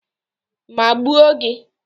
Maa gbuo gi.